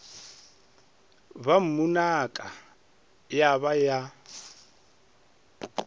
ba mmunaka ya ba ya